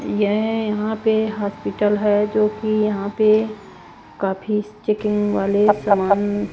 यह यहां पे हॉस्पिटल है जो कि यहां पे काफी चेकिंग वाले सामान--